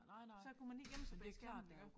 Så kunne man lige gemme sig bag skærmen iggå